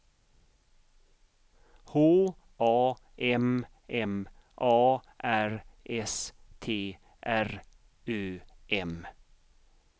H A M M A R S T R Ö M